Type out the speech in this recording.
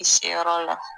I se yɔrɔ la